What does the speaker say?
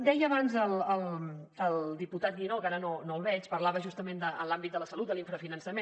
deia abans el diputat guinó que ara no el veig parlava justament en l’àmbit de la salut de l’infrafinançament